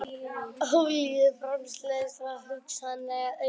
Olíuframleiðsla hugsanlega aukin